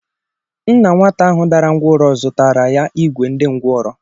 Nna nwata ahụ dara ńgwọrọ zụtara ya ìgwè ndị ngwọrọ